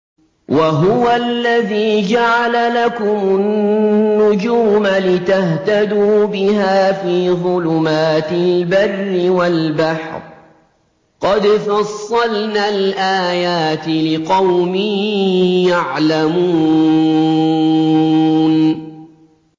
وَهُوَ الَّذِي جَعَلَ لَكُمُ النُّجُومَ لِتَهْتَدُوا بِهَا فِي ظُلُمَاتِ الْبَرِّ وَالْبَحْرِ ۗ قَدْ فَصَّلْنَا الْآيَاتِ لِقَوْمٍ يَعْلَمُونَ